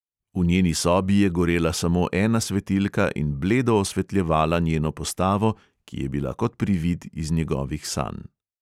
V njeni sobi je gorela samo ena svetilka in bledo osvetljevala njeno postavo, ki je bila kot privid iz njegovih sanj.